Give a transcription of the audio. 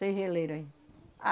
Sem geleira ainda.